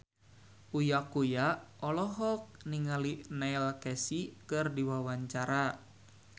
Uya Kuya olohok ningali Neil Casey keur diwawancara